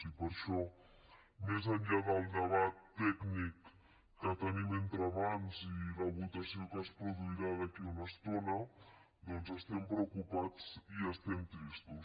i per això més enllà del debat tècnic que tenim entre mans i la votació que es produirà d’aquí a una estona doncs estem preocupats i estem tristos